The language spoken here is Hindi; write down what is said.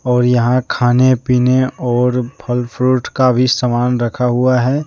और यहां खाने पीने और फल फ्रूट का भी सामान रखा हुआ है।